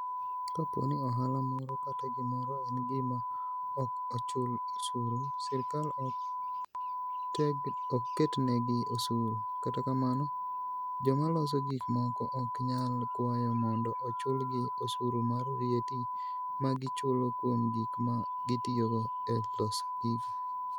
Kapo ni ohala moro kata gimoro en gima "ok ochul osuru", sirkal ok ketnegi osuru, kata kamano, joma loso gik moko ok nyal kwayo mondo ochulgi osuru mar VAT ma gichulo kuom gik ma gitiyogo e loso gigo.